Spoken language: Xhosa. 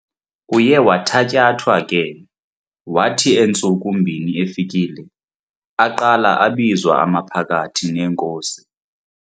Uye wathatyathwa ke, wathi entsuku mbini efikile, aqala abizwa amaphakathi neenkosi.